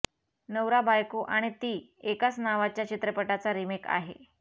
नवरा बायको आणि ती एकाच नावाच्या चित्रपटाचा रिमेक आहे